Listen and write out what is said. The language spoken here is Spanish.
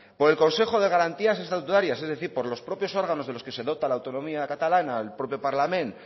por el consejo de garantías estatutarias es decir por los propios órganos de los que se dota la autonomía catalana el propio parlament